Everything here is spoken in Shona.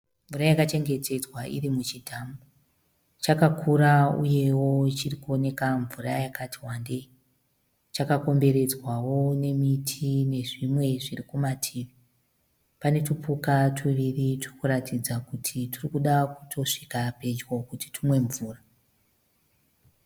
Mvura yaka chengetedzwa iri muchidhamu. Chakakura uye wo chirikuoneka mvura yakati wandei. Chakakomberedzwawo nemiti nezvimwe zviri kumativi. Pane tupuka tuviri turikuratidza kuti turi kuda kutosvika pedyo kuti tumwe mvura .